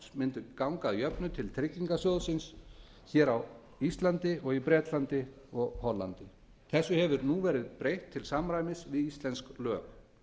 gengju að jöfnu til tryggingarsjóðs innstæðueigenda og fjárfesta hér á landi bretlandi og hollandi þessu hefur nú verið breytt til samræmis við íslensk lög